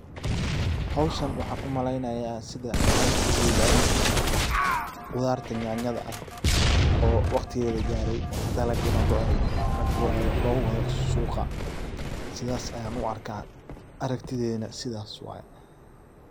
Hawshan waxaan u maleynaya sida aragtidayda inay tahay qudarta yanyada ah oo waqtigeeda lagaray dalagi ne go'ay lagurayo loowada suqa. Sidas ayan u arka aragtidaydana sidas waye.